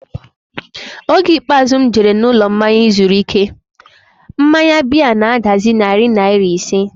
Oge ikpeazụ m jere n'ụlọmmanya izuru ike, mmanya biya na-adazi narị naira ise